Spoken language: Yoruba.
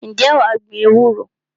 Ǹjẹ́ wà á gbin ewúro?